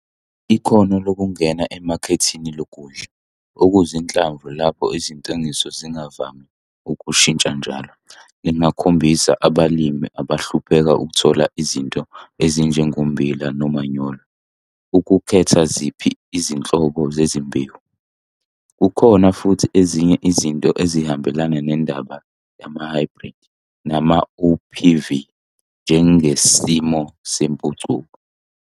Ikhono lokungena emakethini lokudla okuzinhlamvu lapho izintengiso zingavami ukushintsha njalo lingakhombisa abalimi abahlupheka ukuthola izinto ezinjengommbila nomanyolo ukukhetha ziphi izinhlobo zezimbewu. Kukhona futhi ezinye izinto ezihambelana nendaba yamahhayibhridi namaOPV, njengesimo sempucuko.